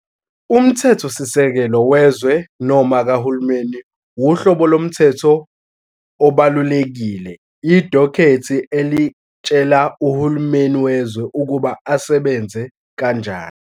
Umthethosisekelo wezwe, noma kahulumeni, uhlobo lomthetho obalulekile idokhethi elitshela uhulumeni wezwe ukuba asebenze kanjani.